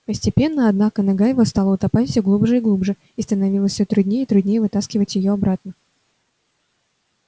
постепенно однако нога его стала утопать все глубже и глубже и становилось все труднее и труднее вытаскивать её обратно